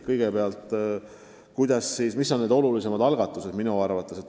Kõigepealt, mis on minu arvates olulisemad algatused.